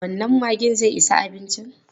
Wannan maggin zai isa abincin?